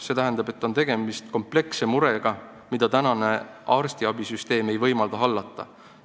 See tähendab, et on tegemist kompleksse murega, mida tänane arstiabisüsteem ei võimalda hallata.